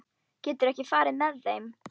Geturðu ekki farið með þeim?